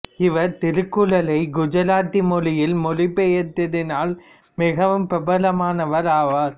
இவர் திருக்குறளைக் குஜராத்தி மொழியில் மொழிபெயர்த்ததினால் மிகவும் பிரபலமானவர் ஆவார்